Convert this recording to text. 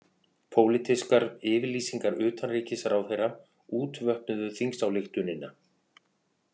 Pólitískar yfirlýsingar utanríkisráðherra útvötnuðu þingsályktunina